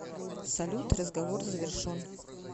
салют разговор завершон